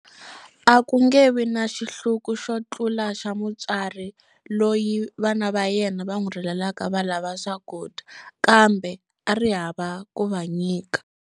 A ku nge vi na xihluku xo tlula xa mutswari loyi vana va yena va n'wi rilelaka va lava swakudya, kambe a ri hava ku va nyika.